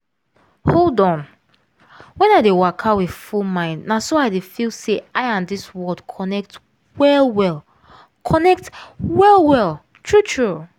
hold on when i dey waka with full mind na so i dey feel say i and dis world connect well-well. connect well-well. true true.